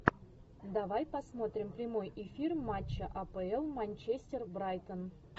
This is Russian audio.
давай посмотрим прямой эфир матча апл манчестер брайтон